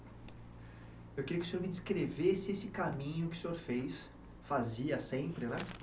Eu queria que o senhor me descrevesse esse caminho que o senhor fez, fazia sempre, né?